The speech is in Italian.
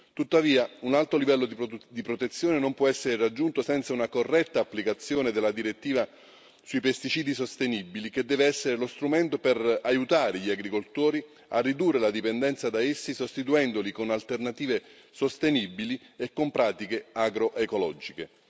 Tuttavia, un alto livello di protezione non può essere raggiunto senza una corretta applicazione della direttiva sui pesticidi sostenibili, che deve essere lo strumento per aiutare gli agricoltori a ridurre la dipendenza da essi sostituendoli con alternative sostenibili e con pratiche agro ecologiche.